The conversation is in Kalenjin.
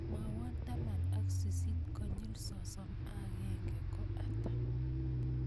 Mwawan taman ak sisit konyil sosom ak agenge ko ata